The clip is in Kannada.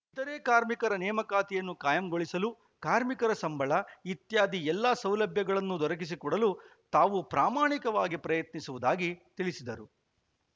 ಇತರೆ ಕಾರ್ಮಿಕರ ನೇಮಕಾತಿಯನ್ನು ಕಾಯಂಗೊಳಿಸಲು ಕಾರ್ಮಿಕರಿಗೆ ಸಂಬಳ ಇತ್ಯಾದಿ ಎಲ್ಲ ಸೌಲಭ್ಯಗಳನ್ನು ದೊರಕಿಸಿಕೊಡಲು ತಾವು ಪ್ರಾಮಾಣಿಕವಾಗಿ ಪ್ರಯತ್ನಿಸುವುದಾಗಿ ತಿಳಿಸಿದರು